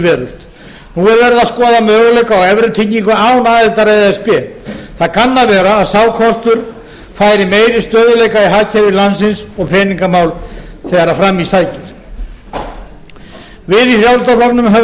veröld nú er verið að skoða möguleika á evrutengingu án aðildar að e s b það kann að vera að sá kostur færi meiri stöðugleika í hagkerfi landsins og peningamál þegar fram í sækir við í frjálslynda flokknum höfum